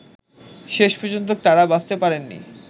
শেষ পর্যন্ত তাঁরা বাঁচতে পারেননি